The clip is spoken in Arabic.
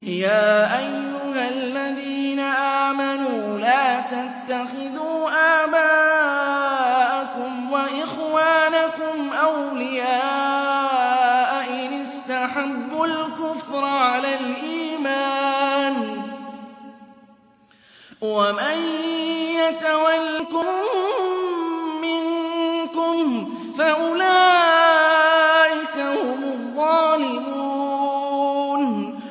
يَا أَيُّهَا الَّذِينَ آمَنُوا لَا تَتَّخِذُوا آبَاءَكُمْ وَإِخْوَانَكُمْ أَوْلِيَاءَ إِنِ اسْتَحَبُّوا الْكُفْرَ عَلَى الْإِيمَانِ ۚ وَمَن يَتَوَلَّهُم مِّنكُمْ فَأُولَٰئِكَ هُمُ الظَّالِمُونَ